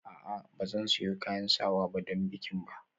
A'a ba zan sayo kayan sawa don bikin ba